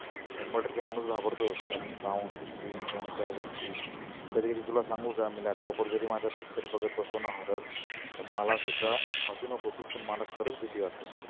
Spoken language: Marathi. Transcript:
शंभर टक्के माणुस घाबरतोच कारण sound systems आणि त्या गोष्टी कधी कधी तुला सांगु का आम्ही laptop जरी माझा picture बघत बसलोना horror तर मला सुद्धा हासु नको तु पण मला खरच भिती वाटते.